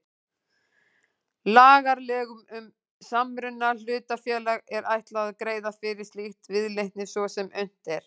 Lagareglum um samruna hlutafélaga er ætlað að greiða fyrir slíkri viðleitni svo sem unnt er.